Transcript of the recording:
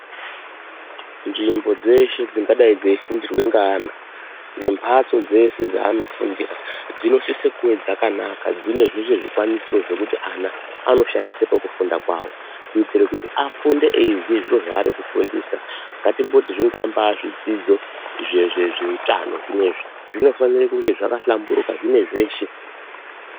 Nzvimbo dzeshe dzingadai dzeifundirwa ngaana, nembatso dzeshe dzaano fundira dzinosise kuve dzakanaka dzine zvikwanisiro zvekuti ana anoshandisa pakufunda kwawo, kuti afunde eiziya zviri zvaari kufundiswa, ngatimboti zvingamba zvidzidzo zviye zviye zveutano zvinofanire kunge zvakahlamburuka zvine zveshe.